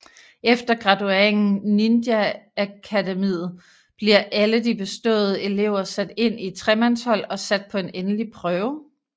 Efter gradueringen ninjaakademiet bliver alle de beståede elever sat ind i tremandshold og sat på en endelig prøve